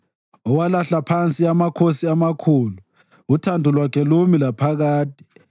Owalahla phansi amakhosi amakhulu, uthando lwakhe lumi laphakade.